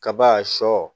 Kaba sɔ